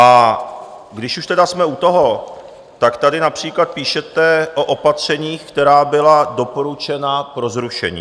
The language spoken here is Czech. A když už tedy jsme u toho, tak tady například píšete o opatřeních, která byla doporučena pro zrušení.